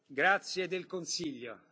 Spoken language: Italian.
Grazie del consiglio.